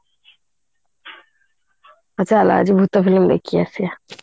ହଉ ଚାଲେ ଆଜି ଭୁତ film ଦେଖିକି ଆସିବା